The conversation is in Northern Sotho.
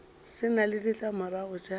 se na le ditlamorago tša